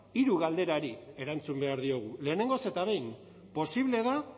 hiru galderari erantzun behar diogu lehenengoz eta behin posible da